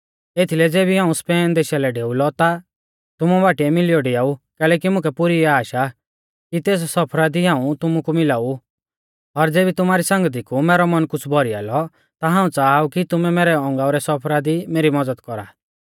एथीलै ज़ेबी हाऊं स्पेन देशा लै डेऊलौ ता तुमु बाटीऐ मिलियौ डियाऊ कैलैकि मुकै पुरी आश आ कि तेस सफरा दी हाऊं तुमु कु मिला ऊ और ज़ेबी तुमारी संगती कु मैरौ मन कुछ़ भौरीया लौ ता हाऊं च़ाहा ऊ कि तुमै मैरै औगांऊ रै सफरा दी मेरी मज़द कौरा